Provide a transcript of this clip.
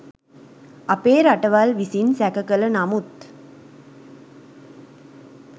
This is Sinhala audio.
අපේ රටවල් විසින් සැක කළ නමුත්